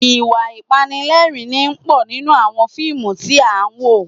Ìwà Ìpanilẹ́rìn-ín pọ̀ nínú àwọn fíìmù tí a wò